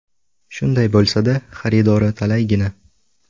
Shunday bo‘lsa-da, xaridori talaygina.